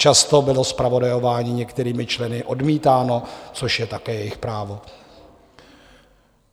Často bylo zpravodajování některými členy odmítáno, což je také jejich právo.